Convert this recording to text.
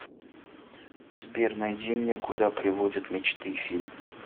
сбер найди мне куда приводят мечты фильм